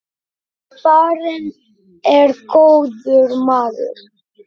Farinn er góður maður.